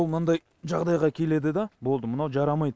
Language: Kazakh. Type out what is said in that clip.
мынандай жағдайға келеді да болды мынау жарамайды